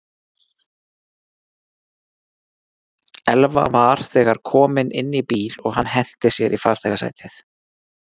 Elva var þegar kominn inn í bíl og hann henti sér í farþegasætið.